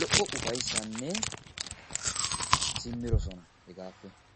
lo'o ufayissaninne simmidosina hegaappe.